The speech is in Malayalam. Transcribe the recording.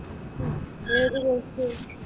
ഏതു കോഴ്സ്സ്?